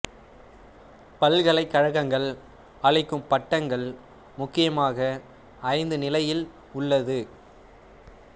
பல்கலைக் கழகங்கள் அளிக்கும் பட்டங்கள் முக்கியமாக ஐந்து நிலையில் உள்ளது